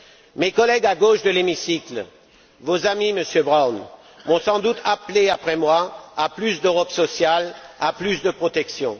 Mes collègues à gauche de l'hémicycle, vos amis, Monsieur Brown, vont sans doute appeler, après moi, à plus d'Europe sociale, à plus de protection.